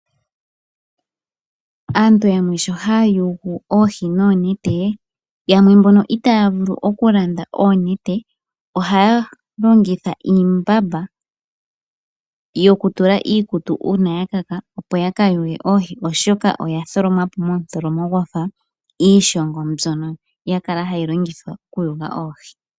Aantu yamwe sho hayayugu oohi nonete, yamwe mbono itavulu okulanda oonete ohayalongitha iimbamba yokutula iikutu uuna yakaka opo yakayuge oohi oshoka yatholomwapo motholomo gwafa iishongo mbyono yakala hayi longithwa okuyuga oohi.